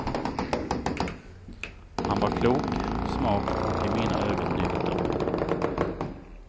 Han var klok, smart och i mina ögon nykter.